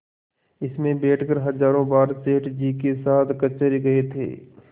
इसमें बैठकर हजारों बार सेठ जी के साथ कचहरी गये थे